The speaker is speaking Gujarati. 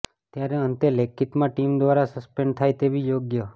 ત્યારે અંતે લેખિતમાં ટીમ દ્વારા સસ્પેન્ડ થાય તેવી યોગ્ય